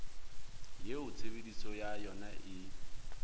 eo tshebediso ya yona e